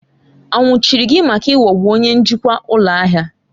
A nwụchiri gị maka ịghọgbu onye njikwa ụlọ ahịa!